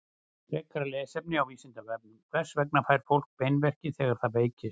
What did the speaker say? Frekara lesefni á Vísindavefnum: Hvers vegna fær fólk beinverki þegar það veikist?